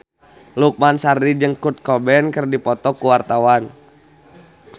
Lukman Sardi jeung Kurt Cobain keur dipoto ku wartawan